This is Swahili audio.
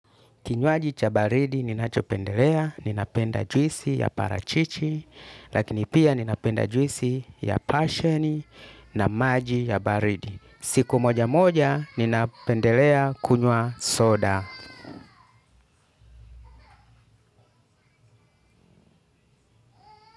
Kinywaji cha baridi ninachopendelea ninapenda juisi ya parachichi lakini pia ninapenda juisi ya pashioni na maji ya baridi. Siku moja moja ninapendelea kunywa soda.